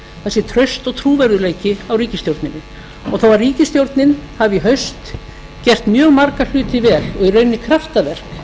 sé traust og trúverðugleiki á ríkisstjórninni og þó að ríkisstjórnin hafi í haust gert mjög marga hluti vel og í rauninni kraftaverk